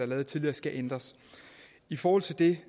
lavet tidligere skal ændres i forhold til det